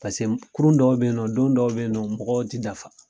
Paseke kurun dɔw be ye nɔ don dɔw be ye nɔ mɔgɔw ti dafa